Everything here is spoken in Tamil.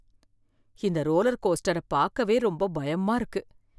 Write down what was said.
இந்த ரோலர் கோஸ்டர பார்க்கவே ரொம்ப பயமா இருக்கு